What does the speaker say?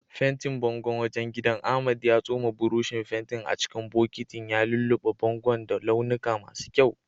Fentin bangon wajen gidan, Ahmad ya tsoma burushin fentin a cikin bokitin, ya lullube bangon da launuka masu kyau.